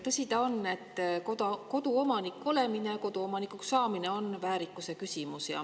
Tõsi ta on, et koduomanik olemine ja koduomanikuks saamine on väärikuse küsimus.